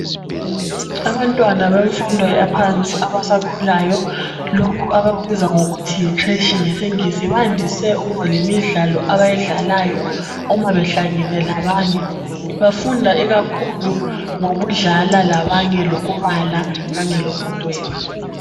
Abantwana bemfundo yaphansi abasakhulayo lokhu abakubiza ngokuthi yicreche ngesingisi bandise ukuba lemidlalo abayidlalayo uma behlangene labanye bafunda ikakhulu ngokudlala labanye lokubala kanye lokudweba